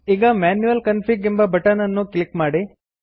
ಈಗ manual config ಎಂಬ button ಅನ್ನು ಕ್ಲಿಕ್ ಮಾಡಿ